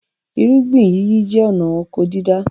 Irúgbìn yíyí jẹ́ ọnà oko dídá